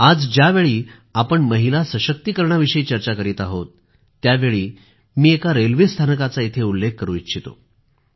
आज ज्यावेळी आपण महिला सशक्तीकरणाविषयी चर्चा करीत आहोत त्यावेळी मी एका रेल्वे स्थानकाचा इथे उल्लेख करू इच्छितो